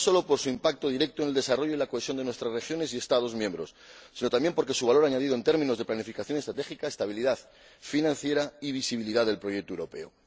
No sólo por su impacto directo en el desarrollo de la cohesión de nuestras regiones y Estados miembros, sino también por su valor añadido en términos de planificación estratégica, estabilidad financiera y visibilidad del proyecto europeo.